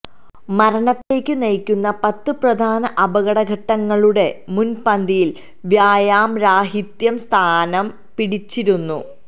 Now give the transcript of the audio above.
മരണത്തിലേക്കു നയിക്കുന്ന പത്ത് പ്രധാന അപകട ഘടകങ്ങളുടെ മുന്പന്തിയില് വ്യായാമരാഹിത്യം സ്ഥാനം പിടിച്ചിരിക്കുന്നു